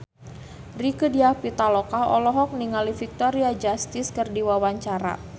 Rieke Diah Pitaloka olohok ningali Victoria Justice keur diwawancara